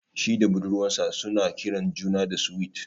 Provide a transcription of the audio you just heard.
Shi da budurwar sa suna kiran juna da "Sweet ".